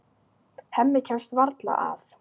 Hemmi kemst varla að.